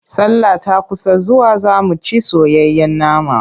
Sallah ta kusa zuwa za mu ci soyayyen nama.